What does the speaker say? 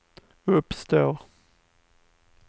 uppstår